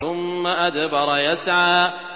ثُمَّ أَدْبَرَ يَسْعَىٰ